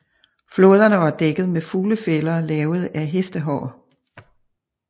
Flåderne var dækket med fuglefælder lavet af hestehår